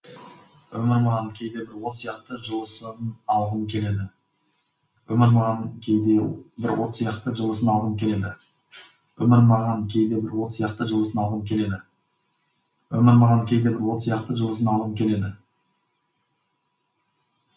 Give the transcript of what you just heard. өмір маған кейде бір от сияқты жылысын алғым келеді